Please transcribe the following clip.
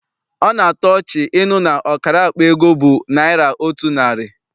Ọ na-atọ ọchị ịnụ na ọkara akpa ego bụ naịra otu narị.